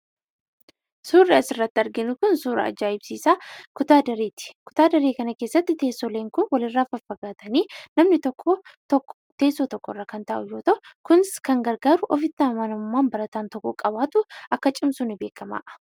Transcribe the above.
Suurri asirratti arginu kun suuraa ajaa'ibsiisaa kutaa dareeti. Kutaa daree kana keessatti teessoowwan kun walirraa faffagaatanii namni tokko teessoo tokkorra kan taa'u yoo ta'u, kunis kan gargaaru ofitti amanamummaan barataan tokko qabaatu akka cimsu beekamaadha.